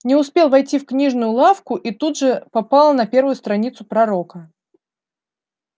не успел войти в книжную лавку и тут же попал на первую страницу пророка